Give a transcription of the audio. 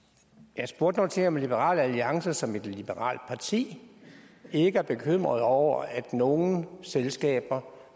jeg spurgte nu til om liberal alliance som et liberalt parti ikke er bekymret over at nogle selskaber